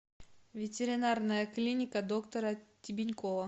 ветеринарная клиника доктора тебенькова